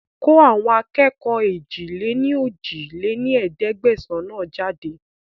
Kó àwọn akẹ́kọ̀ọ́ èjì-lé-ní-ojì lé ní ẹ̀ẹ́dẹ́gbẹ́sán náà jáde